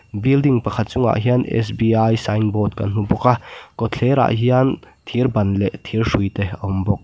building pakhat chungah hian s b i sign board kan hmu bawk a kawt thlerah hian thir ban leh thir hrui te a awm bawk.